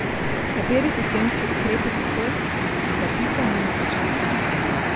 Kateri sistemski ukrepi so to, iz zapisa ni mogoče ugotoviti.